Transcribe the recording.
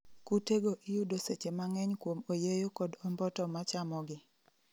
Kute go iyudo seche mang'eny kuom oyeyo kod omboto ma chamogi